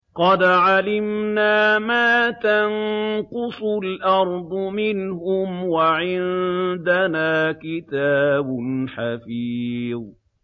قَدْ عَلِمْنَا مَا تَنقُصُ الْأَرْضُ مِنْهُمْ ۖ وَعِندَنَا كِتَابٌ حَفِيظٌ